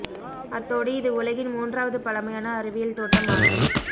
அத்தோடு இது உலகின் மூன்றாவது பழமையான அறிவியல் தோட்டம் ஆகும்